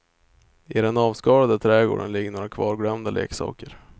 I den avskalade trädgården ligger några kvarglömda leksaker.